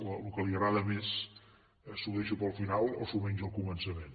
el que li agrada més s’ho deixa per al final o s’ho menja al començament